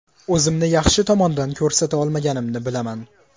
O‘zimni yaxshi tomondan ko‘rsata olmaganimni bilaman.